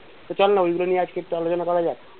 তো চল না ঐগুলো নিয়ে আজকে একটু আলোচনা করা যাক।